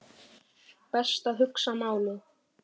Best að hugsa málið.